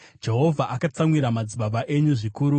“Jehovha akatsamwira madzibaba enyu zvikuru.